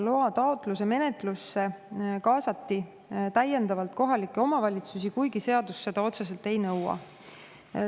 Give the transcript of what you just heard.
Loataotluse menetlusse kaasati täiendavalt kohalikke omavalitsusi, kuigi seadus seda otseselt ei nõua.